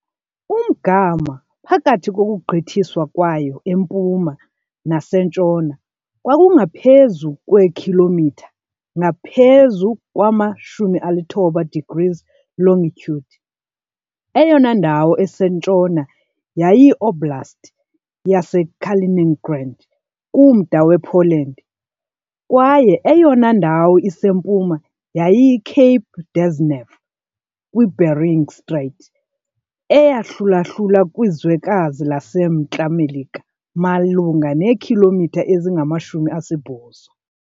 Umgama phakathi kokugqithiswa kwayo empuma nasentshona kwakungaphezu kweekhilomitha ngaphezu kwama-90 degrees longitude, eyona ndawo isentshona yayiyiOblast yaseKaliningrad, kumda wePoland, kwaye eyona ndawo isempuma yayiyiCape Dezhnev kwiBering Strait, eyahlulahlula kwilizwekazi laseMntla Melika malunga neekhilomitha ezingama-80.